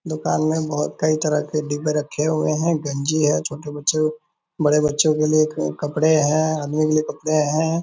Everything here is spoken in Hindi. दुकान में बहुत कई तरह के डिब्बे रखे हुए हैं गंजी है छोटे बच्चों बड़े बच्चों के लिए कपड़े हैं आदमी के लिए कपड़े हैं ।